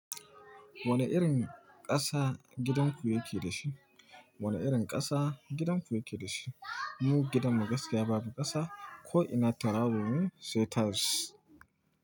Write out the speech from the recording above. Wane irin ƙasa gidanku yake da shi? Wane irin ƙasa gidanku yake da shi? Mu gidan mu gaskiya babu ƙasa, ko'ina taramu sai tiles.